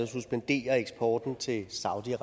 suspendere eksporten til saudi